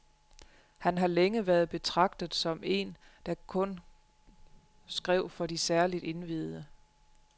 Han har længe været betragtet som en der kun skrev for de særligt indviede.